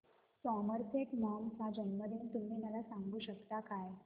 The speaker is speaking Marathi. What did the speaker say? सॉमरसेट मॉम चा जन्मदिन तुम्ही मला सांगू शकता काय